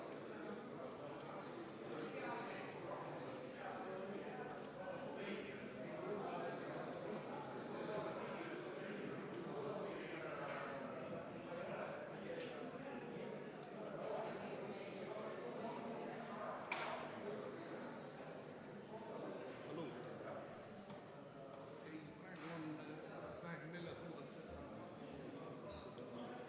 Viis minutit vaheaega.